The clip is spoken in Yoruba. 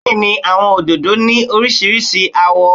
Bẹ́ẹ̀ni àwọn òdòdó ni oríṣiríṣi àwọ̀.